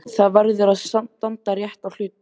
Það verður að standa rétt að hlutunum.